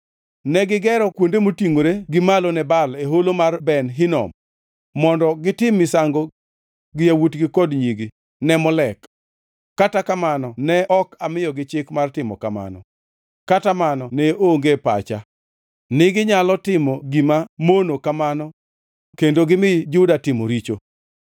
Negigero kuonde motingʼore gi malo ne Baal e Holo mar Ben Hinom mondo gitim misango gi yawuotgi kod nyigi ne Molek, kata kamano ne ok amiyogi chik mar timo kamano, kata mano ne onge e pacha niginyalo timo gima mono kamano kendo gimi Juda tim richo.